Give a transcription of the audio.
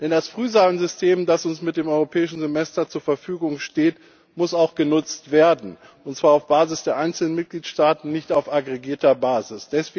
Denn das Frühwarnsystem, das uns mit dem Europäischen Semester zur Verfügung steht, muss auch genutzt werden, und zwar auf Basis der einzelnen Mitgliedstaaten, nicht auf aggregierter Basis.